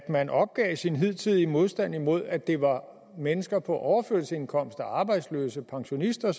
man opgav sin hidtidige modstand mod at det var mennesker på overførselsindkomster arbejdsløse pensionister